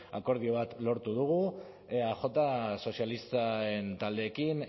akordio bat lortu dugu eaj eta sozialisten taldeekin